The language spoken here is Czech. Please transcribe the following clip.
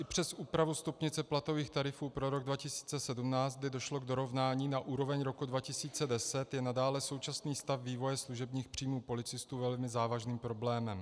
I přes úpravu stupnice platových tarifů pro rok 2017, kdy došlo k dorovnání na úroveň roku 2010, je nadále současný stav vývoje služebních příjmů policistů velmi závažným problémem.